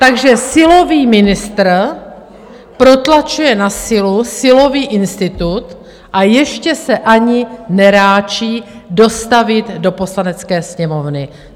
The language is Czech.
Takže silový ministr protlačuje na sílu silový institut, a ještě se ani neráčí dostavit do Poslanecké sněmovny.